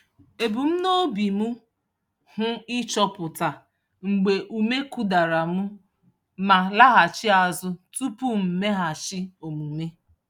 Ebu m n'obi m hụ ịchọpụta mgbe ume kụdara m ma laghachi azụ tupu m mmeghachi omume.